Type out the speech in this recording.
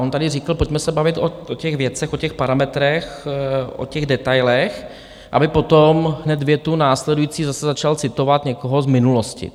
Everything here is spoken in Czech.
On tady řekl: Pojďme se bavit o těch věcech, o těch parametrech, o těch detailech, aby potom hned větu následující zase začal citovat někoho z minulosti.